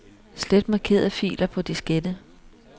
Slet markerede filer på diskette.